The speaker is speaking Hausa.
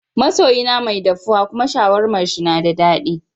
Ma soyi na mai daffuwa kuma sharwaman shi na da dadi sosai.